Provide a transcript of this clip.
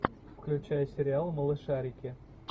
включай сериал малышарики